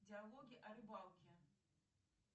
диалоги о рыбалке